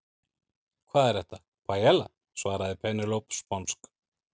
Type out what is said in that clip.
Hvað er þetta? Paiella, svaraði Penélope sponsk.